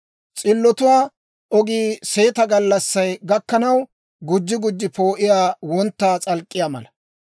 S'illotuwaa ogii seeta gallassay gakkanaw, gujji gujji poo'iyaa wontta s'alk'k'iyaa mala.